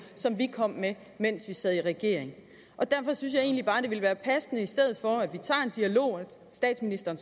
som vi kom med mens vi sad i regering derfor synes jeg egentlig bare det ville være passende i stedet for at vi tager en dialog at statsministeren